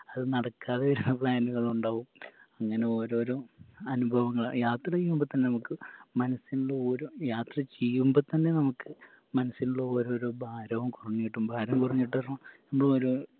അത് നടക്കാതെ വരുന്ന plan കളുണ്ടാവും ഇങ്ങനെ ഓരോരോ അനുഭവങ്ങള യാത്രെയ്യുമ്പോ തന്നെ മ്മക്ക് മനസ്സിൻറെ ഓരോ യാത്ര ചെയ്യുമ്പോ തന്നെ നമക്ക് മനസ്സിലുള്ള ഓരോരോ ഭാരോ കൊറഞ്ഞ് കിട്ടും ഭാരം കൊറഞ്ഞ് കിട്ടാ പറഞ്ഞ ഇപ്പോരോ